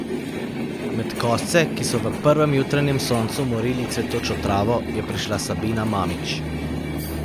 Med kosce, ki so v prvem jutranjem soncu morili cvetočo travo, je prišla Sabina Mamić.